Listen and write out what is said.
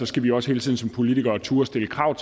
skal vi også hele tiden som politikere turde stille krav